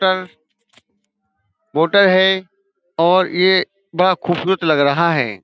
Motor है और ये बड़ा खूबसूरत लग रहा है।